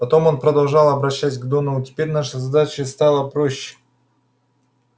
потом он продолжал обращать к доновану теперь наша задача стала проще